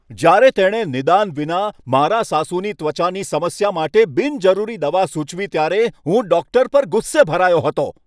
જ્યારે તેણે નિદાન વિના મારાં સાસુની ત્વચાની સમસ્યા માટે બિનજરૂરી દવા સૂચવી ત્યારે, હું ડૉક્ટર પર ગુસ્સે ભરાયો હતો.